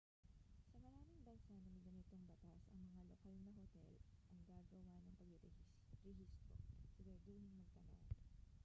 sa maraming bansa na may ganitong batas ang mga lokal na hotel ang gagawa ng pagrerehistro siguraduhing magtanong